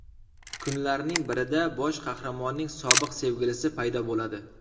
Kunlarning birida bosh qahramonning sobiq sevgilisi paydo bo‘ladi.